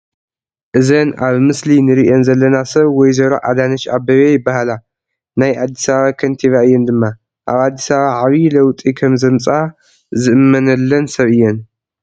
እዘን ኣብ ምስሊ ንሪአን ዘለና ሰብ ወይዘሮ ኣዳነች ኣበቤ ይበሃላ፡፡ ናይ ኣዲስ ኣባባ ከንቲባ እየን ድማ፡፡ ኣብ ኣዲስ ኣባባ ዓብዪ ለውጢ ከምዘምፅአ ዝእመነለን ሰብ እየን፡፡